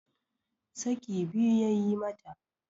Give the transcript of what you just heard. saki biyu ya yi mata